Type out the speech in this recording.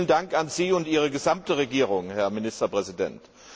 Vielen Dank an Sie und an Ihre gesamte Regierung, Herrn Ministerpräsident!